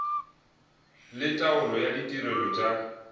le taolo ya ditirelo tša